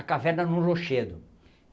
A caverna era um rochedo.